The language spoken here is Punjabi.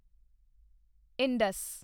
ਇੰਡਸ